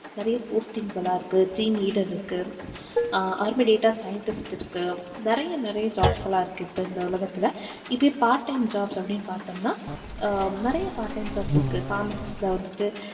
நிறைய postings எல்லாம் இருக்கு team leader இருக்கு அஹ் அதே மாதிரி data scientist இருக்கு நிறைய நிறைய jobs எல்லாம் இருக்கு இப்போ இந்த உலகத்துல இதே part time jobs அப்படின்னு பார்தோம்னா நிறைய part time jobs இருக்கு pharmacist ல வந்துட்டு